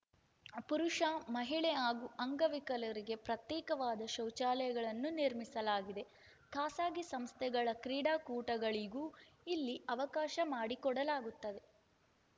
ಪುರುಷ ಮಹಿಳೆ ಹಾಗೂ ಅಂಗವಿಕಲರಿಗೆ ಪ್ರತ್ಯೇಕವಾದ ಶೌಚಾಲಯಗಳನ್ನು ನಿರ್ಮಿಸಲಾಗಿದೆ ಖಾಸಗಿ ಸಂಸ್ಥೆಗಳ ಕ್ರೀಡಾಕೂಟಗಳಿಗೂ ಇಲ್ಲಿ ಅವಕಾಶ ಮಾಡಿಕೊಡಲಾಗುತ್ತದೆ